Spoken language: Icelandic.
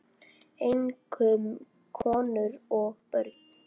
Einkum konur og börn.